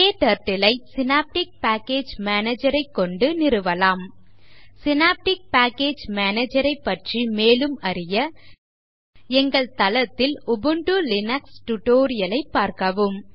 KTurtle ஐ synaptic package Manager ஐக் கொண்டு நிறுவலாம் சினாப்டிக் பேக்கேஜ் Manager ஐப் பற்றி மேலும் அறிய எங்கள் தளத்தில் உபுண்டு லினக்ஸ் tutorial ஐப் பார்க்கவும்